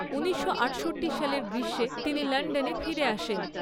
ঊনিশশো আটষট্টি সালের গ্রীষ্মে তিনি লন্ডনে ফিরে আসেন।